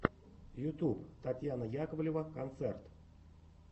ютьюб татьяна яковлева концерт